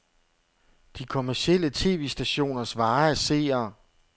De kommercielle tv-stationers vare er seere.